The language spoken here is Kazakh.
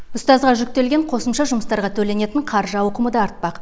ұстазға жүктелген қосымша жұмыстарға төленетін қаржы ауқымы да артпақ